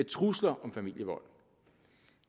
trusler om familievold